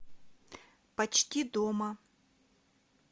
почти дома